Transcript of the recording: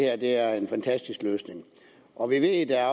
at det her er en fantastisk løsning og vi ved at